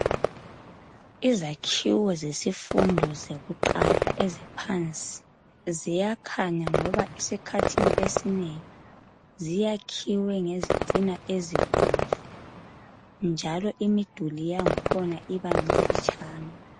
Izakhiwo zesifundo sakuqala phansi ziyakhanya ngoba esikhathini esinengi ziyakhiwe ngezitina ezibomvu njalo imiduli yakhona iba mfitshane.